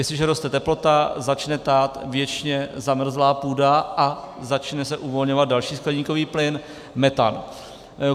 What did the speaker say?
Jestliže roste teplota, začne tát věčně zamrzlá půda a začne se uvolňovat další skleníkový plyn, metan.